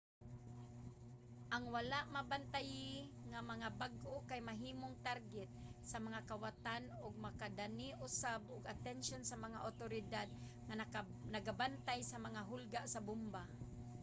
ang wala mabantayi nga mga bag kay mahimong target sa mga kawatan ug makadani usab og atensyon sa mga awtoridad nga nagabantay sa mga hulga sa bomba